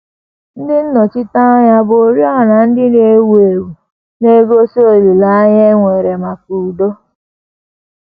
Ndị nnọchiteanya bu oriọna ndị na - enwu enwu — na - egosi olileanya e nwere maka udo